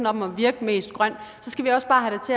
om at virke mest grøn så skal vi også bare have